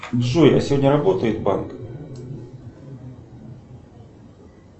джой а сегодня работает банк